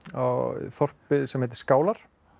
þorpið sem heitir skálar